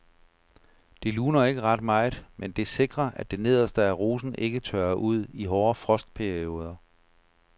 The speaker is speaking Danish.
Det luner ikke ret meget, men det sikrer at det nederste af rosen ikke tørrer ud i hårde frostperioder.